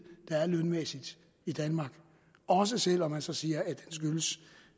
der er lønmæssigt i danmark også selv om man så siger